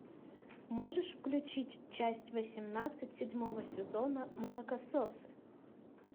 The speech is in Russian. можешь включить часть восемнадцать седьмого сезона молокососы